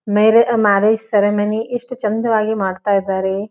Mere marriage ceremony ಎಷ್ಟು ಚಂದವಾಗಿ ಮಾಡ್ತಾ ಇದಾರೆ.